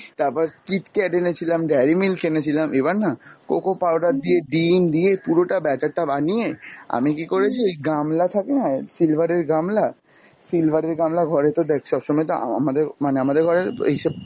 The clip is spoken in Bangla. তারপর Kitkat এনেছিলাম, dairy milk এনেছিলাম, এবার না coco powder দিয়ে, ডিম দিয়ে পুরটা batter টা বানিয়ে আমি কী করেছি ওই গামলা থাকেনা silver এর গামলা, silver এর গামলা ঘরে তো দ্যাখ সব সময় তো আ~ আমাদের মানে আমাদের ঘরে এইসব